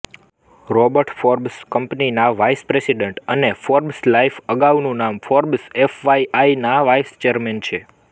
Robert Forbes કંપનીના vice president અને Forbes Life અગાઉનું નામ ફોર્બ્સ એફવાયઆઇ ના વાઇસ ચેરમેન છે